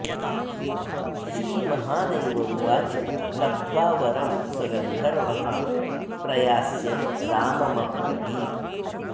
श्रीमहादेव उवाच लब्ध्वा वरं स गन्धर्वः प्रयास्यन् राममब्रवीत्